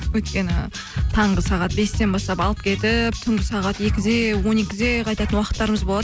өйткені таңғы сағат бестен бастап алып кетіп түнгі сағат екіде он екіде қайтатын уақыттарымыз болады